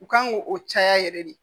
U kan ŋ'o o caya yɛrɛ de